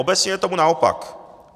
Obecně je tomu naopak.